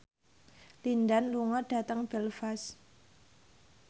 Lin Dan lunga dhateng Belfast